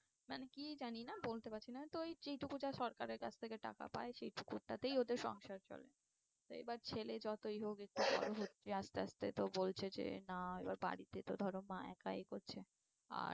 কিছু জানি না বলতে পারছি না তো যেই টুকু যা সরকারের কাছ থেকে টাকা পায় সেই টুকুটাতেই ওদের সংসার চলে। এইবার ছেলে যতই হোক একটু বড়ো হচ্ছে আস্তে আস্তে তো বলছে যে না এবার বাড়িতে তো ধরো মা একা এ করছে আর